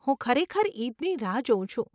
હું ખરેખર ઈદની રાહ જોઉં છું.